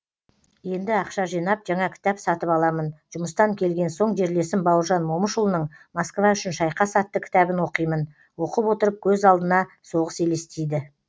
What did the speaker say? енді ақша жинап жаңа кітап сатып аламын жұмыстан келген соң жерлесім бауыржан момышұлының москва үшін шайқас атты кітабын оқимын оқып отырып көз алдына соғыс елестейді